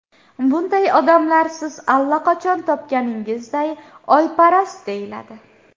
Bunday odamlar, siz allaqachon topganingizday, oyparast deyiladi.